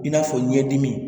I n'a fɔ ɲɛdimi